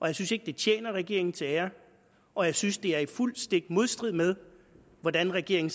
jeg synes ikke det tjener regeringen til ære og jeg synes det er i fuldstændig modstrid med hvordan regeringen